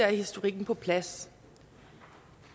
historikken på plads